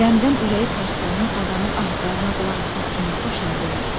Qəmdən ürəyi parçalanan adamın ah-zarına qulaq asmaq kimin xoşuna gələr?